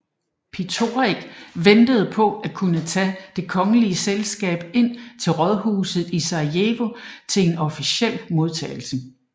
Potiorek ventede på at kunne tage det kongelige selskab ind til rådhuset i Sarajevo til en officiel modtagelse